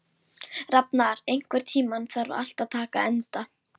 Ég hef sagt þér það sautján sinnum.